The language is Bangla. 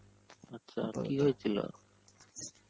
আচ্ছা কি হয়েছিল?